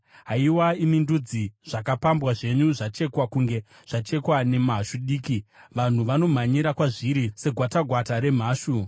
Haiwa imi ndudzi, zvakapambwa zvenyu zvachekwa kunge zvachekwa nemhashu diki; vanhu vanomhanyira kwazviri segwatakwata remhashu.